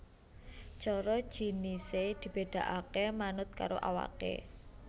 Coro jinisé dibedakaké manut karo awaké